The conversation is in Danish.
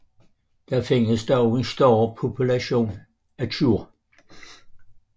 Der findes dog en større population af tjur